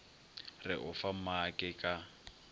re o fa maake ka